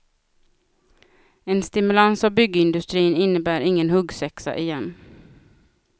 En stimulans av byggindustrin innebär ingen huggsexa igen.